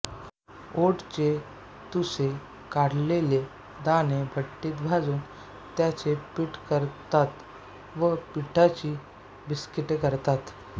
ओटचे तुसे काढलेले दाणे भट्टीत भाजून त्याचे पीठ करतात व पिठाची बिस्किटे करतात